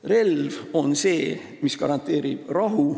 Relv on see, mis garanteerib rahu.